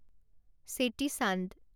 চেতি চান্দ